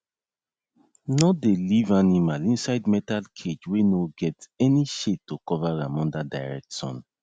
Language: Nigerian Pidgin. no dey leave animal inside metal cage wey no get any shade to cover am under direct sun